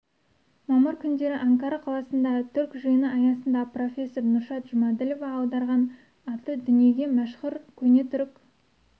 мамыр күндері анкара қаласында түрк жиыны аясында профессор нұршат жұмаділова аударған аты дүниеге мәшһүр көне түрік